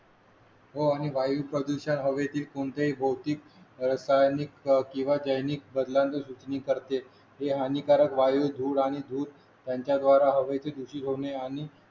हो आणि वायू प्रदूषण हवेतील कोणतेही भौतिक रसायनिक किंवा जैविक बदलांच करते ते हानिकारक वायू धूर आणि धूर त्यांच्याद्वारा हवेची दुषित होणे आणि